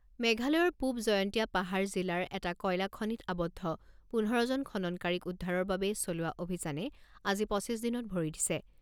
মেঘালয়ৰ পূব জয়ন্তীয়া পাহাৰ জিলাৰ এটা কয়লাখনিত আৱদ্ধ পোন্ধৰ জন খননকাৰীক উদ্ধাৰৰ বাবে চলোৱা অভিযানে আজি পঁচিছ দিনত ভৰি দিছে।